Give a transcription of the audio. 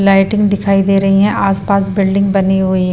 Lighting दिखाई दे रही है आसपास बिल्डिंग बनी हुई है।